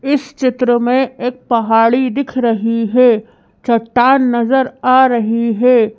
इस चित्र में एक पहाड़ी दिख रही है चट्टान नजर आ रही है।